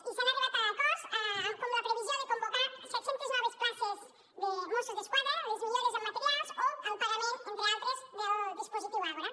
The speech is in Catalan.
i s’ha arribat a acords com la previsió de convocar set centes noves places de mossos d’esquadra les millores en materials o el pagament entre altres del dispositiu àgora